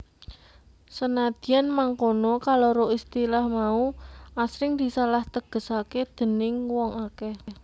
Senadyan mangkono kaloro istilah mau asring disalah tegesaké déning wong akèh